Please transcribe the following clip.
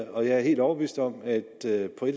og jeg er helt overbevist om at det på